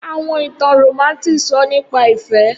Awọn itan Romantic sọ nipa ifẹ.